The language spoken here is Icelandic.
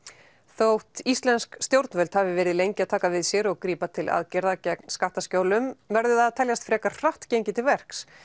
þótt íslensk stjórnvöld hafi verið lengi að taka við sér og grípa til aðgerða gegn skattaskjólum verður það að teljast frekar hratt gengið til verks